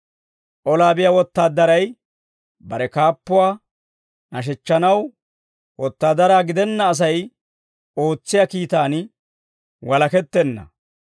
Olaa biyaa wotaadaray bare kaappuwaa nashechchanaw, wotaadara gidenna Asay ootsiyaa kiitaan walakettenna.